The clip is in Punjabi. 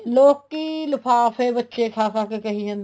ਲੋਕੀਂ ਲਿਫਾਫੇ ਬੱਚੇ ਖਾ ਖਾ ਕੇ ਕਹਿ ਜਾਣੇ ਹੈ